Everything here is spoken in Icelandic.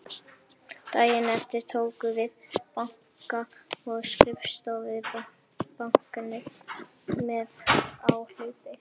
Daginn eftir tókum við banka- og skrifstofubáknið með áhlaupi.